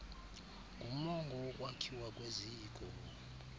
ngumongo wokwakhiwa kweziko